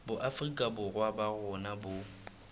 boafrika borwa ba rona bo